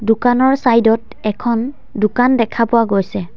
দোকানৰ চাইড ত এখন দোকান দেখা পোৱা গৈছে।